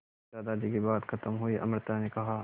दादाजी की बात खत्म हुई तो अमृता ने कहा